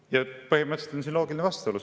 Ja põhimõtteliselt on siin loogiline vastuolu.